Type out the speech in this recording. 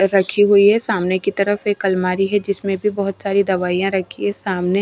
रखी हुई है सामने की तरफ एक अलमारी है जिसमें भी बहुत सारी दवाइयां रखी है सामने --